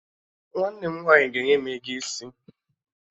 Nwanne m nwaanyị ga-enye m ego isi